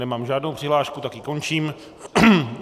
Nemám žádnou přihlášku, tak ji končím.